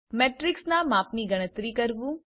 મેટ્રીક્સના માપની ગણતરી કરવું